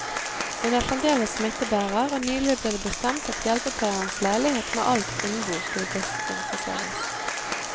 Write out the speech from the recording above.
Hun er fremdeles smittebærer, og nylig ble det bestemt at hjelpepleierens leilighet med alt innbo skulle desinfiseres.